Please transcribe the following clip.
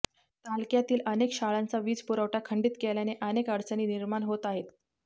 तालक्यातील अनेक शाळांचा वीजपुरवठा खंडित केल्याने अनेक अडचणी निर्माण होत आहेत